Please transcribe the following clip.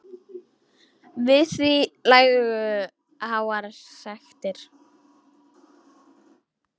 Við því lægju háar sektir.